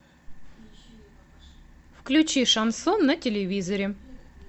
включи шансон на телевизоре